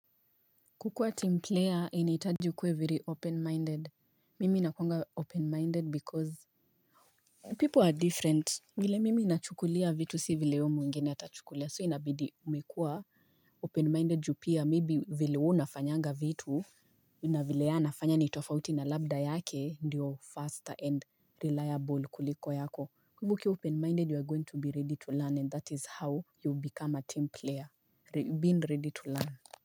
Kukuwa team player inahitaji ukuwe very open-minded. Mimi nakuanga open-minded because People are different. Vile mimi nachukulia vitu si vile huyu mwingine atachukulia so inabidi umekua open-minded ju pia. Maybe vile huwa unafanyanga vitu na vile yeye anafanya ni tofauti na labda yake ndio faster and reliable kuliko yako. Ukiwa open-minded you are going to be ready to learn and that is how you become a team player. Being ready to learn.